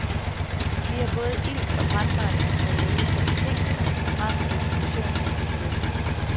Vi har både ilt og brændbart materiale, så betingelserne for brand og eksplosion er tilstede.